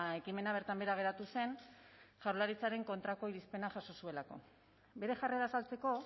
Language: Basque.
ekimena bertan behera geratu zen jaurlaritzaren kontrako irizpena jaso zuelako bere jarrera azaltzeko